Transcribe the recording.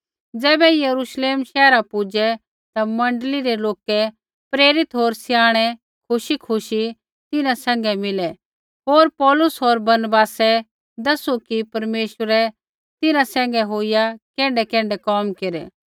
ज़ैबै यरूश्लेम शैहरा पुजै ता मण्डली रै लोका प्रेरित होर स्याणै खुशीखुशी तिन्हां सैंघै मिलै होर पौलुस होर बरनबासै दैसू कि परमेश्वरै तिन्हां सैंघै होईया कैण्ढैकैण्ढै कोम केरै